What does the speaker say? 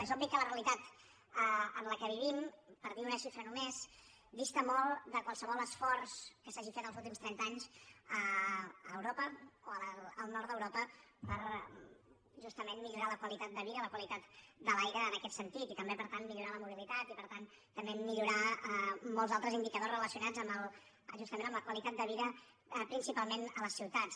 és obvi que la realitat en què vivim per dir una xifra només dista molt de qualsevol esforç que s’hagi fet en els últims trenta anys a europa o al nord d’europa per justament millorar la qualitat de vida la qualitat de l’aire en aquest sentit i també per tant millorar la mobilitat i per tant també millorar molts altres indicadors relacionats amb justament la qualitat de vida principalment a les ciutats